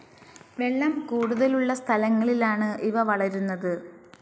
വെള്ളം കൂടുതലുള്ള സ്ഥലങ്ങളിലാണ് ഇവ വളരുന്നത്.